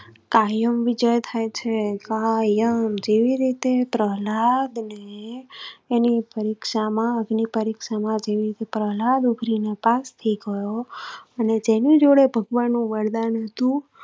કાયમ વિજય થાય છે. કાયમ જેવી રીતે પ્રહલાદ ને ની પરીક્ષા માં અગ્નિપરીક્ષા, ડુગરી ને પાસ થઇ ગયો અને તેની જોડે ભગવાન નું વરદાન.